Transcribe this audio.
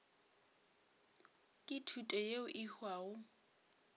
ke thuto yeo e hwago